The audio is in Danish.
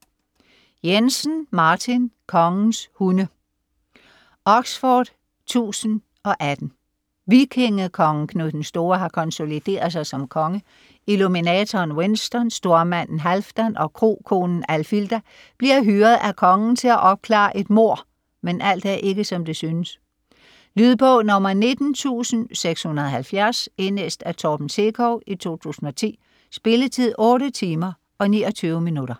Jensen, Martin: Kongens hunde Oxford 1018. Vikingekongen Knud den Store har konsolideret sig som konge. Illuminatoren Winston, stormanden Halfdan og krokonen Alfilda bliver hyret af kongen til at opklare et mord, men alt er ikke, som det synes. Lydbog 19670 Indlæst af Torben Sekov, 2010. Spilletid: 8 timer, 29 minutter.